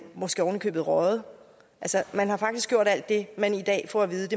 måske oven i købet røget altså man har faktisk gjort alt det man i dag får at vide at